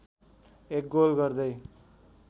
एक गोल गर्दै